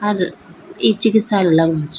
अर ई चिकित्सालय लगनु च।